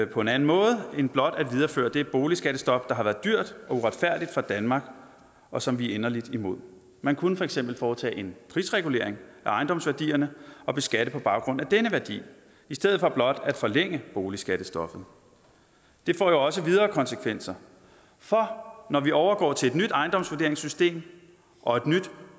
på en anden måde end blot at videreføre det boligskattestop der har været dyrt og uretfærdigt for danmark og som vi er inderlig imod man kunne for eksempel foretage en prisregulering af ejendomsværdierne og beskatte på baggrund af den værdi i stedet for blot at forlænge boligskattestoppet det får jo også videre konsekvenser for når vi overgår til et nyt ejendomsvurderingssystem og et nyt